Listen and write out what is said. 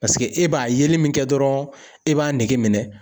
Paseke e b'a yeli min kɛ dɔrɔn e b'a nege minɛ.